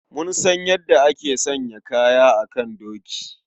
Mun san yadda ake sanya kaya a kan doki.